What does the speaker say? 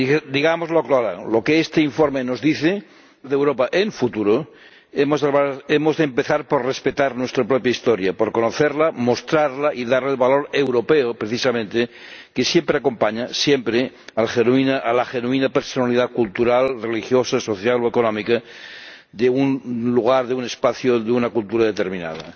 Digámoslo claro, lo que este informe nos dice es que, si queremos hablar de Europa en futuro, hemos de empezar por respetar nuestra propia historia, por conocerla, mostrarla y darle el valor europeo precisamente que siempre acompaña, siempre, a la genuina personalidad cultural, religiosa, social o económica de un lugar, de un espacio, de una cultura determinada.